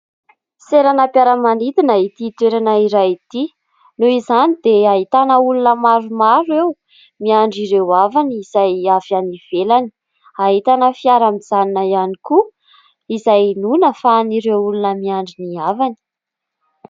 Seranam-piaramanidina ity toerana iray ity noho izany dia ahitana olona maromaro eo miandry ireo havany izay avy any ivelany. Ahitana fiara mijanona ihany koa izay hinoana fa an'ireo olona miandry ny havany.